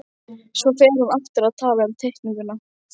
Svo fer hún aftur að tala um teikninguna